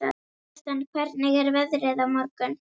Gaston, hvernig er veðrið á morgun?